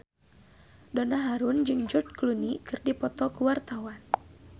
Donna Harun jeung George Clooney keur dipoto ku wartawan